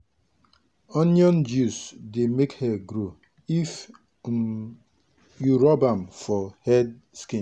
onion juice dey make hair grow if um you rub am for head skin.